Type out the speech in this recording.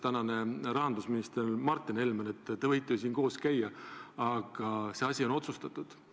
Aga rahandusminister Martin Helme ütles selle kohta, et te võite ju siin koos käia, aga see asi on otsustatud.